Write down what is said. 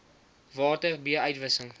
water b uitwissing